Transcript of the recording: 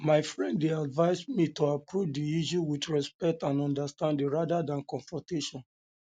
my friend dey advise me to approach the issue with respect and understanding rather than confrontation than confrontation